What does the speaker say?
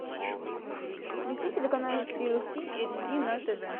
включи телеканал ти эл си эйч ди на тв